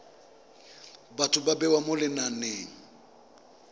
batho ba bewa mo lenaneng